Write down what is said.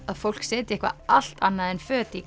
að fólk setji eitthvað allt annað en föt í